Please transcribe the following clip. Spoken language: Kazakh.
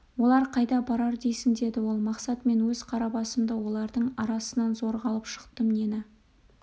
олар қайда барар дейсің деді ол мақсат мен өз қара басымды олардың арасынан зорға алып шықтым нені